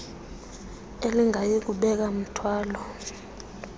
elingayi kubeka mthwalo